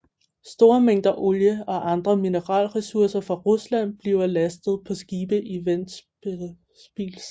Store mængder olie og andre mineralressourcer fra Rusland bliver lastet på skibe i Ventspils